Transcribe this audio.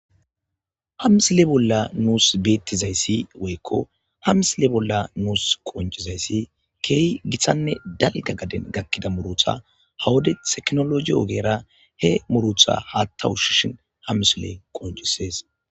Hamsile bolla nuus beettizayssi woykko hamsile bolla nuus qonjizayssi keehi githanne dalga gaden gakkida murutha hawade teknologi ogeera he murutha haatta ushshishin hamsile qonccisees.